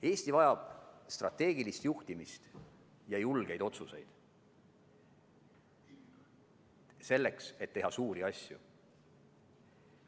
Eesti vajab strateegilist juhtimist ja julgeid otsuseid, selleks et teha suuri asju.